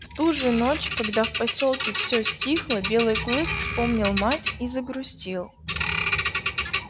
в ту же ночь когда в посёлке все стихло белый клык вспомнил мать и загрустил